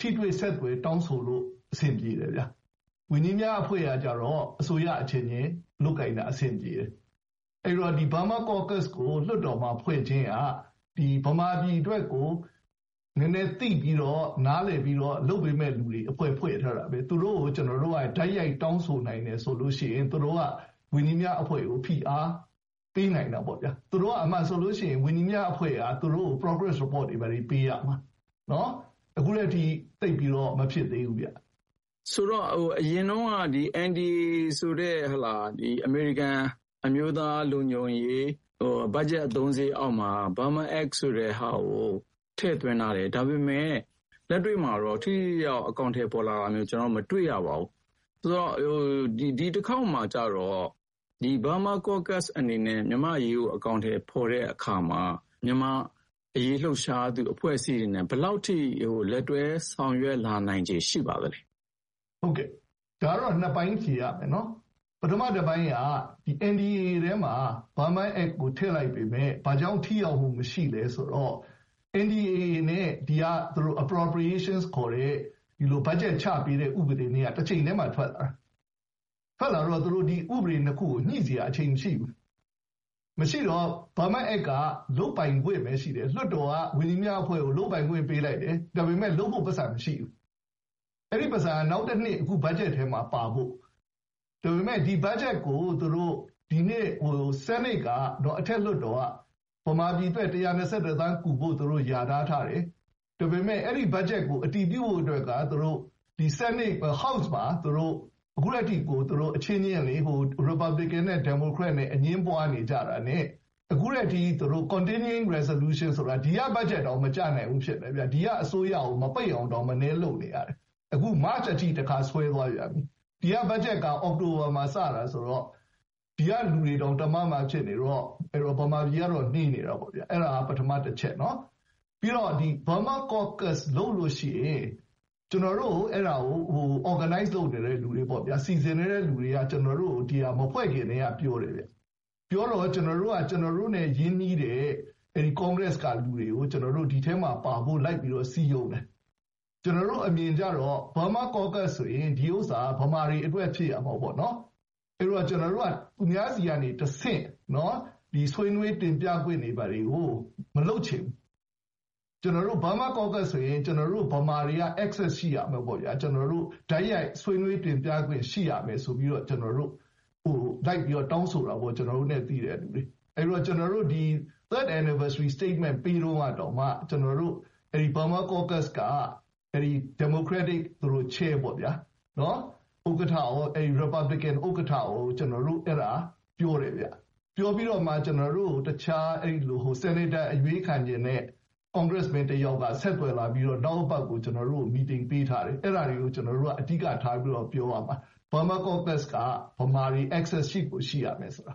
ထိတွေ့ဆက်သွယ် တောင်းဆိုလို့ အဆင်ပြေတယ်ဗျာ။ ဝန်ကြီးများအဖွဲ့ကကျတော့ အစိုးရအချင်းချင်းလုပ်ကိုင်တာ အဆင်ပြေတယ်။ အဲဒီတော့ Burma Caucus ကို လွှတ်တော်မှာဖွဲ့ခြင်းက ဗမာပြည်အတွက်ကို နည်းနည်းသိပြီးတော့ နားလည်ပြီးတော့ လုပ်ပေးမယ့်သူတွေ အဖွဲ့ဖွဲ့ထားတာပဲ။ သူတို့ကို ကျနော်တို့က တိုက်ရိုက်တောင်းဆိုနိုင်တယ်ဆိုလို့ရှိရင် သူတို့က ဝန်ကြီးများအဖွဲ့ကို ဖိအားပေးနိုင်တာပေါ့ဗျာ။ သူတို့က အမှန်ဆိုလို့ရှိရင် ဝန်ကြီးများအဖွဲ့က သူတို့ကို..... report တွေ ဘာတွေ ပေးရမှာ။ အခုထက်ထိ သိပ်ပြီးတော့ မဖြစ်သေးဘူးဗျ။ ဉာဏ်ဝင်းအောင်။ ။ ဆိုတော့ - အရင်တုန်းက NDAA ဆိုတဲ့ အမေရိကန်အမျိုးသားလုံခြုံရေး ဘတ်ဂျက်အသုံးစရိတ်အောက်မှာ Burma Act ဆိုတဲ့ဟာကို ထည့်သွင်းထားတယ်။ ဒါပေမဲ့ လက်တွေ့မှာတော့ ထိထိရောက်ရောက် အကောင်အထည်ဖော်လာတာမျိုး မတွေ့ရသေးပါဘူး။ ဒီတခေါက်မှာကျတော့ Burma Caucus အနေနဲ့ မြန်မာ့အရေးကို အကောင်အထည်ဖော်တဲ့အခါမှာ မြန်မာ့အရေး လှုပ်ရှားတဲ့အဖွဲ့အစည်းတွေနဲ့ ဘယ်လောက် လက်တွဲဆောင်ရွက် လာနိုင်ခြေရှိပါသလဲ။ ဦးဂျိမ်းရွှေ။ ။ ဟုတ်ကဲ့၊ ဒါကတော့ နှစ်ပိုင်းဖြေရမယ်ဗျနော်။ ပထမတပိုင်းက NDAA ထဲမှာ Burma Act ကို ထည့်လိုက်ပေမဲ့ ဘာကြောင့် ထိရောက်မှုမရှိလဲဆိုတော့ NDAA နဲ့ ဒီက appropriation ခေါ်တဲ့ ဘတ်ဂျက်ချပေးတဲ့ဥပဒေနဲ့က တချိန်တည်းမှာထွက်လာတာ။ ထွက်လာပြီးတော့ သူတို့ ဥပဒေနှစ်ခုကို ညှိစရာ အချိန်မရှိဘူး။ မရှိတော့ Burma Act က လုပ်ပိုင်ခွင့်ပဲ ရှိတယ်။ လွှတ်တော်က ဝန်ကြီးများအဖွဲ့ကို လုပ်ပိုင်ခွင့်ပေးလိုက်တယ်။ ဒါပေမဲ့ လုပ်ဖို့ ပိုက်ဆံမရှိဘူး။ အဲဒီပိုက်ဆံက နောက်တနှစ် အခုဘတ်ဂျက်ထဲမှာပါဖို့။ ဒါပေမဲ့ ဒီဘတ်ဂျက်ကို ဒီနှစ် ဆီးနိတ်က - အထက်လွှတ်တော်က ဗမာပြည်အတွက် ၁၂၁ သန်းကူဖို့ လျာထား ထားတယ်၊ ဒါပေမဲ့ အဲဒီဘတ်ဂျက်ကိုအတည်ပြုဖို့အတွက်က ဆီးနိတ်က - ဒီ house မှာ အခုထက်ထိကို သူတို့အချင်းချင်း ရီပတ်ဘလင်ကင်နဲ့ ဒီမိုကရက်နဲ့အငြင်းပွါးနေကြတာနဲ့ အခုထက်ထိ သူတို့ continuing resolution ဆိုတာ ဒီက ဘတ်ဂျက်တောင် မကျနိုင်ဘူးဖြစ်နေတယ်။ ဒီက အစိုးရကို မပိတ်အောင်တောင် မနည်းလုပ်နေရတယ်။ အခု မတ်ချ်အထိ တခါ ဆွဲသွားပြန်ပြီ။ ဒီကဘတ်ဂျက်က အောက်တိုဘာမှာစတာဆိုတော့ ဒီကလူတွေတောင် တမမဖြစ်နေတော့ အဲဒီတော့ ဗမာပြည်ကတော့ နှေးနေတာပေါ့ဗျာ။ အဲဒါ ပထမတချက်နော်။.... ပြီးတော့ Burma Caucus လုပ်လို့ရှိရင် ကျနော်တို့ကို အဲဒါကို organize လုပ်နေတဲ့သူတွေပေါ့ဗျာ၊ စီစဥ်တဲ့သူတွေက ကျနော်တို့ကို ဒီဟာ မဖွဲ့ခင်ကတည်းက ပြောတယ်ဗျ။ ပြောတော့ ကျနော်တို့က ကျနော်တို့နဲ့ရင်းနှီးတဲ့ Congress ကလူတွေကို ကျနော်တို့ ဒီထဲမှာပါဖို့ လိုက်ပြီးတော့ စည်းရုံးနေတယ်။ ကျနော်တို့အမြင်ကျတော့ Burma Caucus တွင် ဒီဥစ္စာ ဗမာတွေအတွက်ဖြစ်ရမယ်ပေါ့နော်။ အဲဒီတော့ ကျနော်တို့က သူများတွေဆီကနေတဆင့် ဆွေးနွေးတင်ပြခွင့်တွေ ဘာတွေကို မလုပ်ချင်ဘူး။ ကျနော်တို့ Burma Caucus ဆိုရင် ကျနော်တို့ ဗမာတွေက access ရှိရမယ်ပေါ့ဗျာ။ ကျနော်တို့ တိုက်ရိုက် ဆွေးနွေးတင်ပြခွင့် ရှိရမယ်ဆိုပြီးတော့ ကျနော်တို့ လိုက်ပြီးတော့ တောင်းဆိုတာပေါ့။ ကျနော်တို့နဲ့သိတဲ့သူတွေကို။ အဲဒီတော့ ကျနော်တို့ Third Anniversary Statement ပေးတုန်းကတောင်မှ အဲဒီ Burma Caucus က ဒီမိုကရက်တစ် chair ပေါ့ဗျာ၊ ဥက္ကဋ္ဌရော၊ ရီပတ်ဘလစ်ကင်ဥက္ကဋ္ဌရော ကျနော်တို့ အဲဒါ ပြောတယ်ဗျ။ ပြောပြီးတော့မှ ကျနော်တို့ကို တခြား ဆီးနိတ်တာအရွေးခံချင်တဲ့ congressman တယောက်က ဆက်သွယ်လာပြီးတော့ နောက်အပတ်ကို ကျနော်တို့ကို---- ပေးထားတယ်။ အဲဒါတွေကို ကျနော်တို့က အဓိကထားပြီးတော့ ပြောရမှာ။ Burma Caucus က ဗမာတွေ access ရှိကိုရှိရမယ်ဆိုတာ